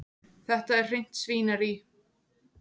Þetta er hreint svínarí.